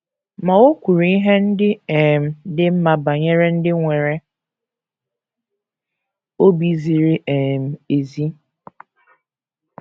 Ma, o kwuru ihe ndị um dị mma banyere ndị nwere obi ziri um ezi.